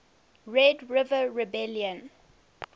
red river rebellion